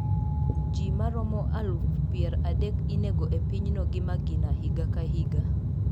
Ji maromo aluf pier adek inego e pinyno gi magina higa ka higa.